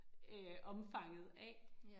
Øh omfanget af